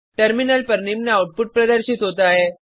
terminal पर निम्न output प्रदर्शित होता है